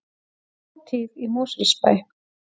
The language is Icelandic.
Hátíð í Mosfellsbæ